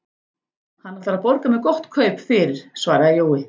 Hann ætlar að borga mér gott kaup fyrir, svaraði Jói.